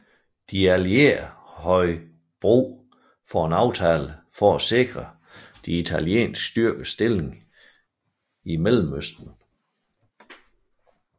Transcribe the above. De allierede havde brug for aftalen for at sikre de italienske styrkers stilling i Mellemøsten